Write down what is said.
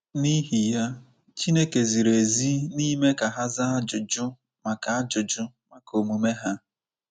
N’ihi ya, Chineke ziri ezi n’ime ka ha zaa ajụjụ maka ajụjụ maka omume ha.